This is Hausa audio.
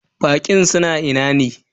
Baƙin suna ina ne?